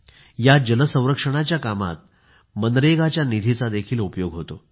या जल संरक्षणाच्या कामात मनरेगाच्या निधीचा देखील उपयोग होतो